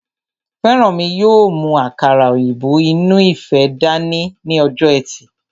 Fẹ́rànmi yóò mú àkàrà òyìnbó inú ife dání ní ọjọ́ ẹtì